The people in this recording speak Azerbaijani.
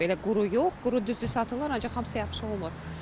Belə quru yox, quru düzdür satılır, ancaq hamısı yaxşı olmur.